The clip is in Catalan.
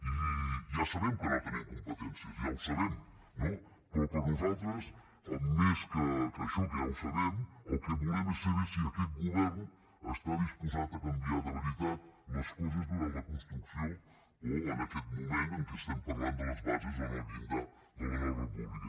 i ja sabem que no tenim competències ja ho sabem no però per nosaltres més que això que ja ho sabem el que volem és saber si aquest govern està disposat a canviar de veritat les coses durant la construcció o en aquest moment en què estem parlant de les bases en el llindar de la nova república